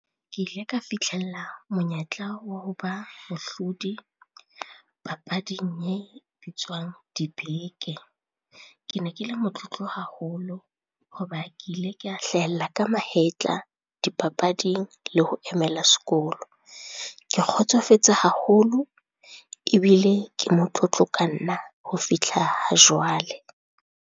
Ke ile ka fitlhella monyetla wa ho ba mohlodi papading e bitswang dibeke. Ke ne ke le motlotlo haholo ho ba ke ile ka hlahella ka mahetla dipapading le ho emela sekolo. Ke kgotsofetse haholo, ebile ke motlotlo ka nna ho fihla ha jwale.